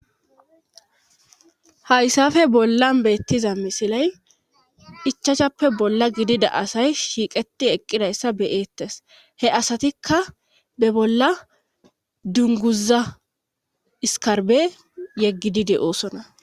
Hayssafe bollan beettiza misilay ichachappe bolla gidida asay shiiqeti eqqidayssa beyeettes he asatikka be bolla dunguza iskarbe yeggidide de'oosona